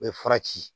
O ye fara ci